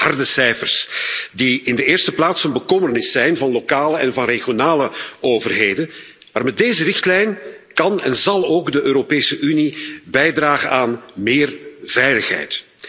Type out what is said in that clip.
Harde cijfers die in de eerste plaats een bekommernis zijn van lokale en regionale overheden, maar met deze richtlijn kan en zal ook de Europese Unie bijdragen aan meer veiligheid.